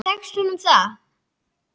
Tekst honum það?